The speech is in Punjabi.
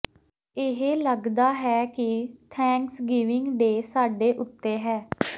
ਇਹ ਲੱਗਦਾ ਹੈ ਕਿ ਥੈਂਕਸਗਿਵਿੰਗ ਡੇ ਸਾਡੇ ਉੱਤੇ ਹੈ